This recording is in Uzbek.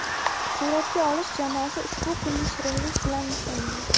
Suratga olish jamoasi ushbu kunni shirinlik bilan nishonladi.